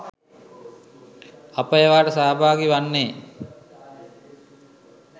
අප ඒවාට සහභාගී වන්නෙ